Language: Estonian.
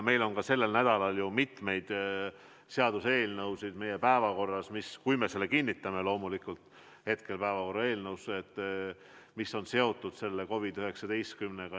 Meil on ka sellel nädalal päevakorras – loomulikult juhul, kui me selle kinnitame – mitu seaduseelnõu, mis on seotud COVID-19-ga.